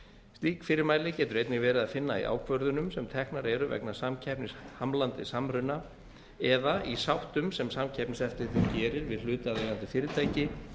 slík fyrirmæli getur einnig verið að finna í ákvörðunum sem teknar eru vegna samkeppnishamlandi samruna eða í sáttum sem samkeppniseftirlitið gerir við hlutaðeigandi fyrirtæki